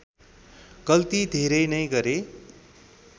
गल्ती धेरै नै गरे